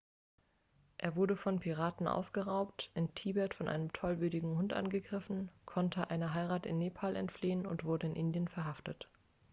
er wurde von piraten ausgeraubt in tibet von einem tollwütigen hund angegriffen konnte einer heirat in nepal entfliehen und wurde in indien verhaftet